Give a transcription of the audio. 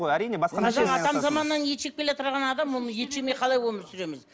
әрине атам заманнан ет жеп келеатырған адам ол ет жемей қалай өмір сүреміз